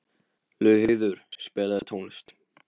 Laugheiður, spilaðu tónlist.